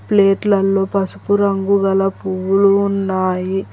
ప్లేట్లల్లో పసుపు రంగు గల పువ్వులు ఉన్నాయి.